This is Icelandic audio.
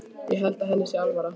Ég held að henni sé alvara.